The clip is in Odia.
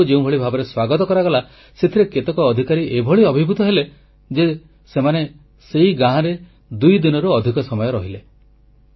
ସେମାନଙ୍କୁ ଯେଉଁଭଳି ଭାବରେ ସ୍ୱାଗତ କରାଗଲା ସେଥିରେ କେତେକ ଅଧିକାରୀ ଏଭଳି ଅଭିଭୂତ ହେଲେ ଯେ ସେମାନେ ସେହି ଗାଁରେ ଦୁଇଦିନରୁ ଅଧିକ ସମୟ ରହିଲେ